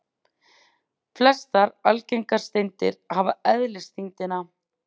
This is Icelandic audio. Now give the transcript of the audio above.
Flestar algengar steindir hafa eðlisþyngdina